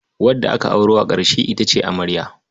Wadda aka auro a ƙarshe ita ce amarya.